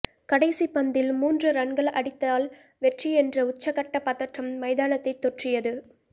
கடைசி பந்தில் மூன்று ரன்கள் அடித்தால் வெற்றி என்ற உச்சக்கட்ட பதற்றம் மைதானத்தை தொற்றியது